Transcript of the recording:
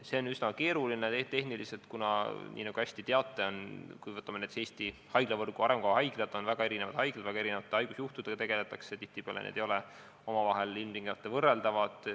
See on tehniliselt üsna keeruline, kuna nagu te hästi teate, näiteks Eesti haiglavõrgu arengukava haiglad on väga erinevad, seal tegeldakse väga erinevate haigusjuhtudega ja tihtipeale ei ole need omavahel ilmtingimata võrreldavad.